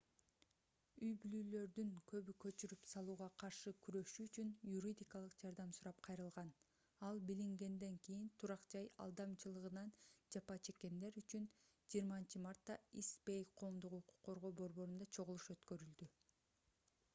үй-бүлөлөрдүн көбү көчүрүп салууга каршы күрөшүү үчүн юридикалык жардам сурап кайрылган ал билингенден кийин турак-жай алдамчылыгынан жапа чеккендер үчүн 20-мартта ист бэй коомдук укук коргоо борборунда чогулуш өткөрүлдү